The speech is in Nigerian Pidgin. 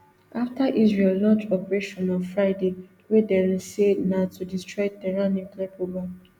afta israel launch operation on friday wey dem say na to destroy tehran nuclear programme